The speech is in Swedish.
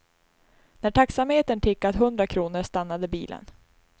När taxametern tickat hundra kronor stannade bilen.